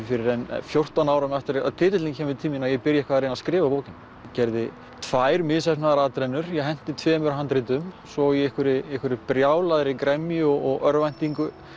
fyrr en fjórtán árum eftir að titillinn kemur til mín að ég byrja eitthvað að reyna að skrifa bókina gerði tvær misheppnaðar atrennur ég henti tveimur handritum svo í einhverri einhverri brjálaðri gremju og örvæntingu